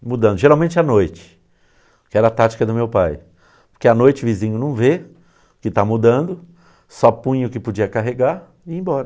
Sim, mudando, geralmente à noite, que era a tática do meu pai, porque à noite o vizinho não vê que está mudando, só punha o que podia carregar e ia embora.